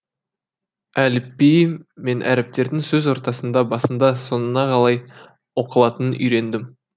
әліпбиі мен әріптердің сөз ортасында басында соңына қалай оқылатынын үйрендім